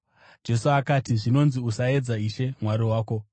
Jesu akati, “Zvinonzi, ‘Usaedza Ishe Mwari wako.’ ”